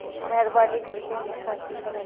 मेहरबानी करके हमें शान्ति से रहने दो